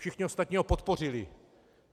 Všichni ostatní ho podpořili.